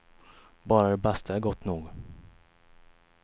Bara det bästa är gott nog.